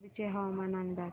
कुडची हवामान अंदाज